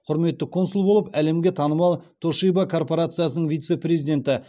құрметті консул болып әлемге танымал тошиба корпорациясының вице президенті